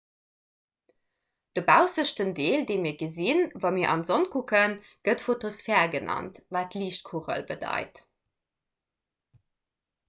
de baussechten deel dee mir gesinn wa mir an d'sonn kucken gëtt fotosphär genannt wat liichtkugel bedeit